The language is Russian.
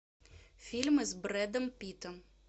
фильмы с брэдом питтом